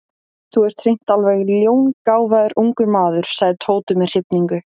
Þú ert hreint alveg ljóngáfaður ungur maður sagði Tóti með hrifningu.